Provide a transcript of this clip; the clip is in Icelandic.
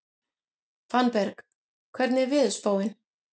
Fannberg, hvernig er veðurspáin?